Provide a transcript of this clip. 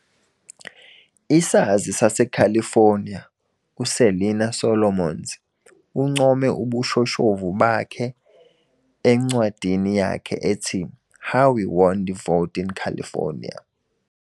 Isazi saseCalifornia uSelina Solomons uncome ubushoshovu bakhe encwadini yakhe ethi, How We Won the Vote in California.